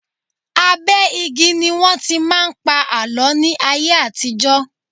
Abẹ́ igi ni wọ́n tí máa ń pa àlọ́ ní ayé àtijọ́.